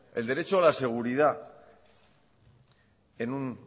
el derecho a la seguridad en un